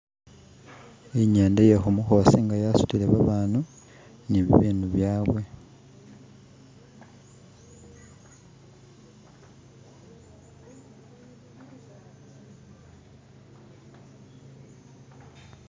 Inyenda ye khumukhosi nga yasutile babandu ni bibindu byaawe